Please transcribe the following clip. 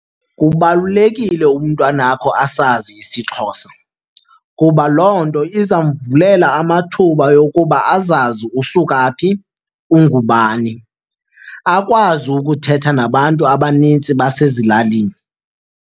Kubalulekile umntwanakho asazi isiXhosa kuba loo nto iza mvulela amathuba okuba azazi usuka phi, ungubani, akwazi ukuthetha nabantu abanintsi basezilalini.